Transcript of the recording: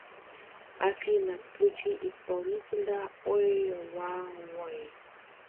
афина включи исполнителя ой ва вой